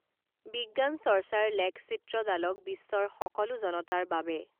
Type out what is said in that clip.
বিজ্ঞান চৰ্চাৰ লেখচিত্ৰডালক বিশ্বৰ সকলো জনতাৰ বাবে